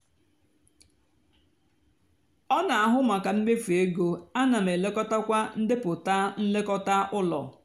ọ nà-àhụ mákà mmefu égó áná m èlekọtakwá ndepụta nlekọta úló.